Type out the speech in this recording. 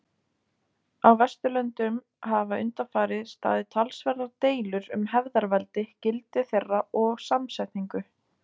Á Vesturlöndum hafa undanfarið staðið talsverðar deilur um hefðarveldi, gildi þeirra og samsetningu.